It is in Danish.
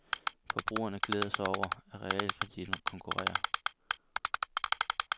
Forbrugerne glæder sig over, at realkreditten konkurrerer.